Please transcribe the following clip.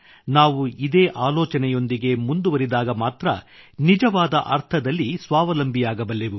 ನಾವು ಇದೇ ಆಲೋಚನೆಯೊಂದಿಗೆ ಮುಂದುವರಿದಾಗ ಮಾತ್ರ ನಿಜವಾದ ಅರ್ಥದಲ್ಲಿ ಸ್ವಾವಲಂಬಿಯಾಗಬಲ್ಲೆವು